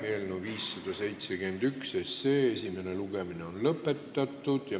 Eelnõu 571 esimene lugemine on lõpetatud.